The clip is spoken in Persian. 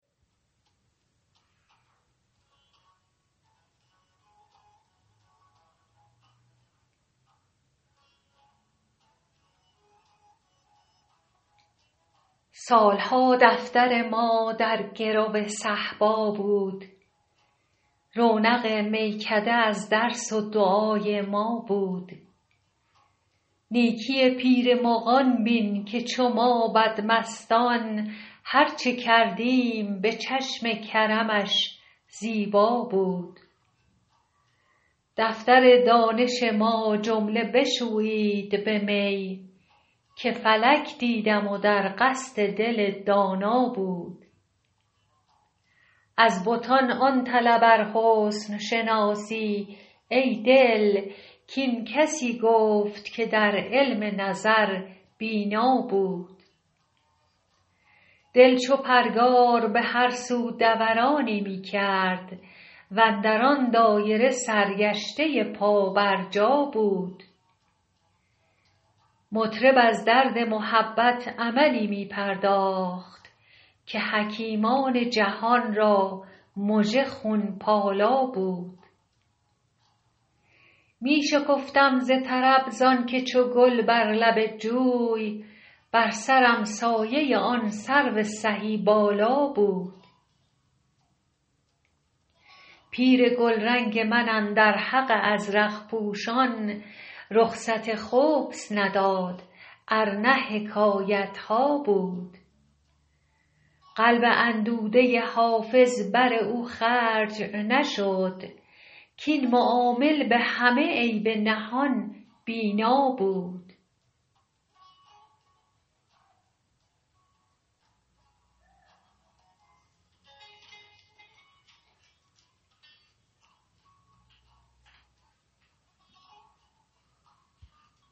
سال ها دفتر ما در گرو صهبا بود رونق میکده از درس و دعای ما بود نیکی پیر مغان بین که چو ما بدمستان هر چه کردیم به چشم کرمش زیبا بود دفتر دانش ما جمله بشویید به می که فلک دیدم و در قصد دل دانا بود از بتان آن طلب ار حسن شناسی ای دل کاین کسی گفت که در علم نظر بینا بود دل چو پرگار به هر سو دورانی می کرد و اندر آن دایره سرگشته پابرجا بود مطرب از درد محبت عملی می پرداخت که حکیمان جهان را مژه خون پالا بود می شکفتم ز طرب زان که چو گل بر لب جوی بر سرم سایه آن سرو سهی بالا بود پیر گلرنگ من اندر حق ازرق پوشان رخصت خبث نداد ار نه حکایت ها بود قلب اندوده حافظ بر او خرج نشد کاین معامل به همه عیب نهان بینا بود